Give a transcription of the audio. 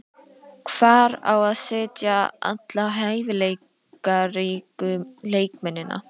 Hvar á að setja alla hæfileikaríku leikmennina?